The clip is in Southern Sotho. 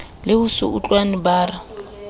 le ho se utlwane bara